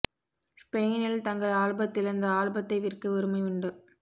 ஸ்பெயினில் தங்கள் ஆல்பத்தில் அந்த ஆல்பத்தை விற்க உரிமை உண்டு